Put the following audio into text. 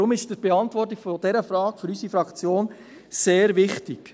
Deshalb ist die Beantwortung dieser Frage für unsere Fraktion sehr wichtig.